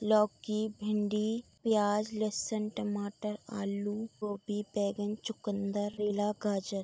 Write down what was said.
लौकी भिंडी प्याज लस्सन टमाटर आलू गोभी बैगन चुकंदर रेला गाजर --